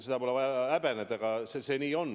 Seda pole vaja häbeneda, see nii on.